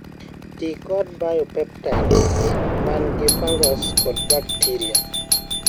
tii kod biopesticides mangi fungus kod bacteria